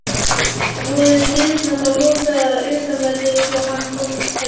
Voru dyrnar þá lokaðar að utanverðu svo hann komst hvergi.